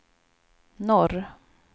norr